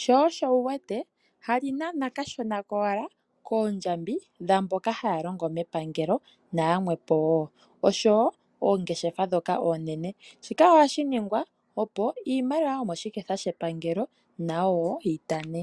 sho osho wu wete hali nana ko kashona wala koondjambi dhaamboka haya longo mepagelo naya mwepo wo, osho wo oongeshefa dhoka oonene, shika ohashi ningwa opo iimaliwa yomoshiketha shepangelo nayo woo yi tante.